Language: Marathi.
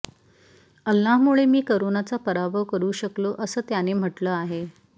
अल्लाहमुळे मी करोनाचा पराभव करू शकलो असं त्याने म्हटलं आहे